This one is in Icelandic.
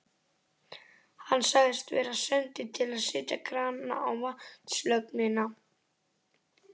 Hann sagðist vera sendur til að setja krana á vatnslögnina.